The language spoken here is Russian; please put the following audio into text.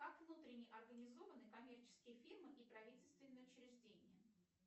как внутренне организованы коммерческие фирмы и правительственные учреждения